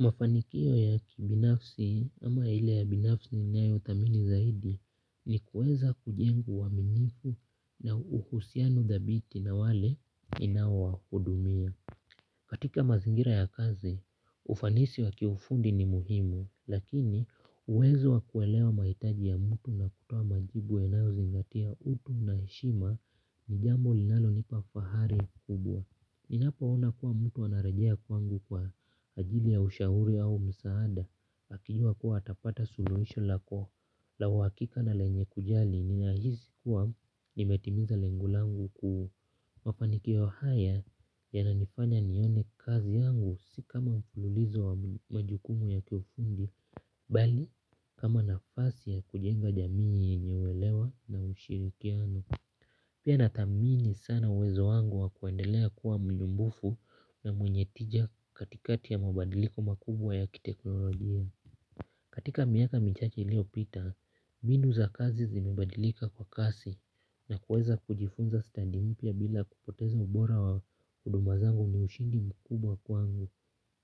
Mafanikio ya kibinafsi ama ile ya binafsi ninayo thamini zaidi ni kuweza kujenga uaminifu na uhusiano dhabiti na wale ninaowahudumia. Katika mazingira ya kazi, ufanisi wa kiufundi ni muhimu, lakini uwezo wa kuelewa mahitaji ya mtu na kutoa majibu yanayozingatia utu na heshima ni jambo linalonipa fahari kubwa. Ninapoona kuwa mtu anarejea kwangu kwa ajili ya ushauri au msaada akijua kuwa atapata suluhisho lako la uhakika na lenye kujali ninahisi kuwa nimetimiza lengu langu ku. Mafanikio haya yananifanya nione kazi yangu si kama mfululizo wa majukumu ya kiufundi bali kama nafasi ya kujenga jamii yenye uelewa na ushirikiano. Pia nathamini sana uwezo wangu wa kuendelea kuwa mnumbufu na mwenye tija katikati ya mabadiliko makubwa ya kiteknolojia. Katika miaka michache iliyopita, mbinu za kazi zimebadilika kwa kasi na kuweza kujifunza stadi mpya bila kupoteza ubora wa huduma zangu ni ushindi mkubwa kwangu.